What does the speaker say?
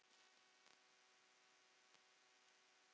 Og í hverju ertu þá?